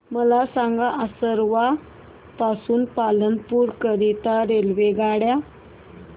मला सांगा असरवा पासून पालनपुर करीता रेल्वेगाड्या